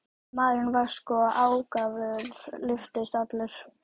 Maðurinn var svo ákafur, lyftist allur.